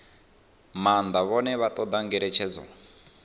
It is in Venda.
maanḓa vhane vha ṱoḓa ngeletshedzo